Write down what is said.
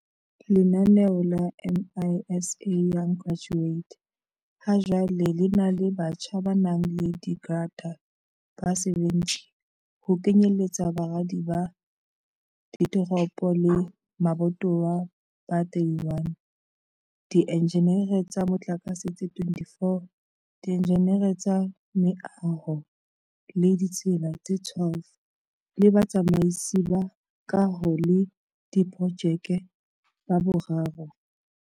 Lenaneo la MISA Young Graduate ha jwale lena le batjha ba nang le digrata ba 70, ho kenyelletsa baradi ba dit eropo le mabatowa ba 31, di enjineri tsa motlakatse tse 24, dienjineri tsa meaho le ditsela tse 12 le batsamaisi ba kaho le diprojeke ba bararo.